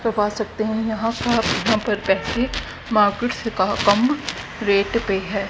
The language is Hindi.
तो पा सकते हैं यहां पर यहां पर पैसे मार्केट से कहा कम रेट पे है।